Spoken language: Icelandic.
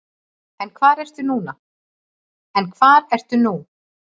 En hvar ertu nú?